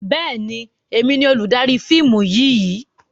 Bẹ́ẹ̀ni, èmi ni olùdarí fíìmù yìí.